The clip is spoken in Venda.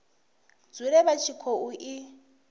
dzule vha tshi khou i